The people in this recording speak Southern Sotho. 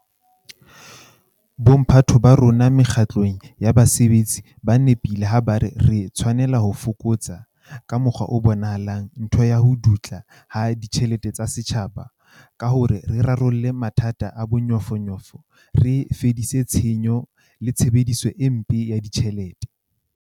Bomphato ba rona mekga tlong ya basebetsi ba nepile ha ba re re tshwanela ho fokotsa, ka mokgwa o bonahalang, ntho ya ho dutla ha ditjhelete tsa setjhaba ka hore re rarolle mathata a bonyofonyofo, re fedise tshenyo le tshebediso e mpe ya ditjhelete.